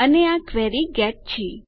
અને આ query get છે